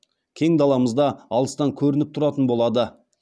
кең даламызда алыстан көрініп тұратын болады